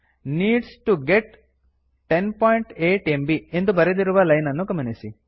needs T O get 108 MB ಎಂದು ಬರೆದಿರುವ line ಅನ್ನು ಗಮನಿಸಿ